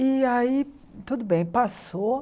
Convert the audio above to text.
E aí, tudo bem, passou.